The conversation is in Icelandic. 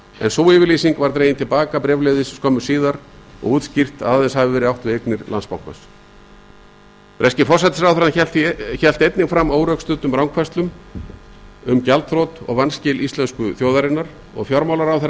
en sú yfirlýsing var dregin til baka bréfleiðis skömmu síðar og útskýrt að aðeins hafi verið átt við eignir landsbankans breski forsætisráðherrann hélt einnig fram órökstuddum rangfærslum í fjölmiðlum um gjaldþrot og vanskil íslensku þjóðarinnar og fjármálaráðherra